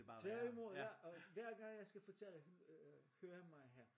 Tvært i mod ja! Og hver gang jeg skal fortælle øh høre mig her